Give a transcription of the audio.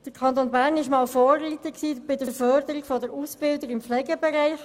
Der Kanton Bern war einmal ein Vorreiter bei der Förderung der Ausbildungen im Pflegebereich.